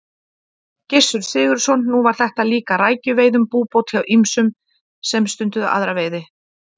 Gissur Sigurðsson: Nú var þetta líkja rækjuveiðum búbót hjá ýmsum sem stunduðu aðra veiði?